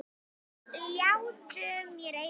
Ljáðu mér eyra.